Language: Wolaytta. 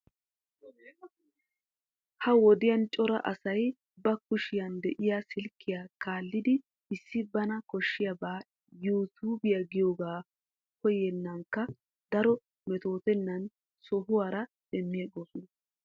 Ha wodiyan cora asay ba kushiya de'iyaa silkkiyaa kaallidi issi bana koshshabaa yuu tube giyoogan koyinnekka daro metootennan sihowaara demiigoosona.